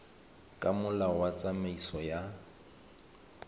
ka molao wa tsamaiso ya